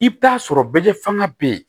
I bɛ taa sɔrɔ bɛlɛ fanga bɛ yen